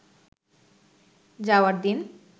যাওয়ার দিন